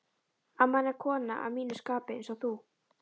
amman er kona að mínu skapi, einsog þú.